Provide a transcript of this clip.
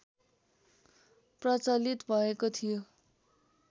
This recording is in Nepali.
प्रचलित भएको थियो